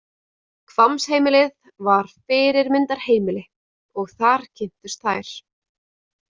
Hvammsheimilið var fyrirmyndarheimili og þar kynntust þær.